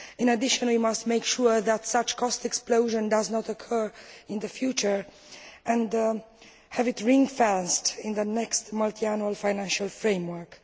In addition, we must make sure that such a cost explosion does not occur in the future and have it ring fenced in the next Multiannual Financial Framework.